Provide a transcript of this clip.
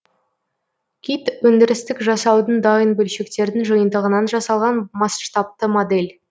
кит өндірістік жасаудың дайын бөлшектердің жиынтығынан жасалған масштабты модель